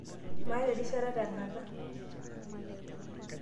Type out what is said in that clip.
maata erishata tekata